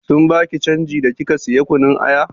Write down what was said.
Sun baki canji da kika saya kunun aya?